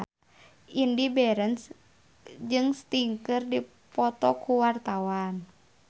Indy Barens jeung Sting keur dipoto ku wartawan